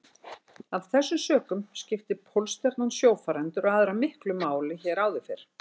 Af þessum sökum skipti Pólstjarnan sjófarendur og aðra miklu máli hér áður fyrr.